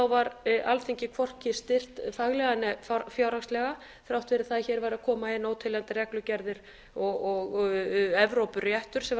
var alþingi hvorki styrkt faglega né fjárhagslega þrátt fyrir það að hér væru að koma inn óteljandi reglugerðir og evrópuréttur sem var